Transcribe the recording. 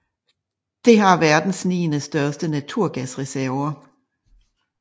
Det har verdens niende største naturgasreserver